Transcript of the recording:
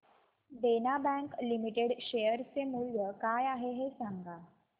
देना bank limited share चे मूल्य काय आहे हे सांगा